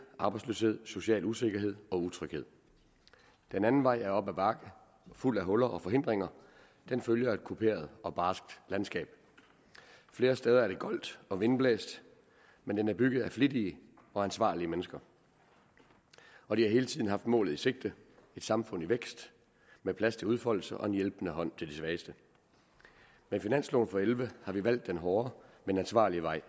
arbejdsløshed social usikkerhed og utryghed den anden vej er op ad bakke og fuld af huller og forhindringer den følger et kuperet og barsk landskab flere steder er det goldt og vindblæst men den er bygget af flittige og ansvarlige mennesker og de har hele tiden haft målet i sigte et samfund i vækst med plads til udfoldelse og en hjælpende hånd til de svageste med finansloven og elleve har vi valgt den hårde men ansvarlige vej